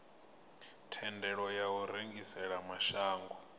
thendelo ya u rengisela mashango